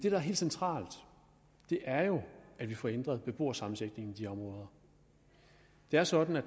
er helt centralt er jo at vi får ændret beboersammensætningen i de områder det er sådan at